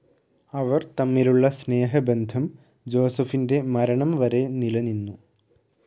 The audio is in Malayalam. അവർ തമ്മിലുള്ള സ്നേഹബന്ധം ജോസഫിൻ്റെ മരണം വരെ നിലനിന്നു.